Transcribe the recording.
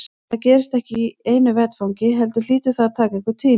En það gerist ekki í einu vetfangi heldur hlýtur það að taka einhvern tíma.